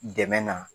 Dɛmɛ na